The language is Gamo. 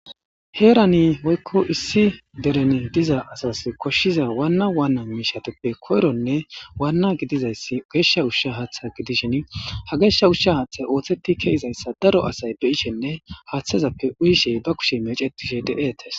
Heerani woykko issi dereni diza asas koshshiza waanna waanna miishateppe koyronne waanna gidizayssi geeshsha ushsha haaththa gidishen ha geeshsha ushsha haaththay ooththetti keizayssa daro asay be ishenne haaththazappe uyishey ba kushe mecetishe de'etes